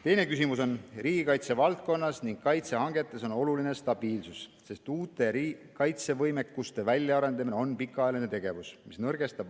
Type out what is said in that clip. Teine küsimus: "Riigikaitsevaldkonnas ja kaitsehangetes on oluline stabiilsus, sest uute kaitsevõimekuste väljaarendamine on pikaajaline tegevus.